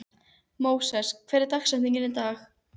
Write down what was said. Móses, hver er dagsetningin í dag?